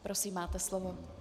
Prosím, máte slovo.